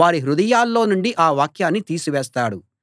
వారి హృదయాల్లో నుండి ఆ వాక్యాన్ని తీసివేస్తాడు